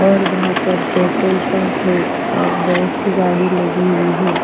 और वहा पर पेट्रोल पंप है और बहोत सी गाड़ी लगी हुई है।